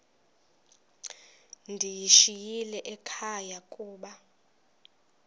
ndiyishiyile ekhaya koba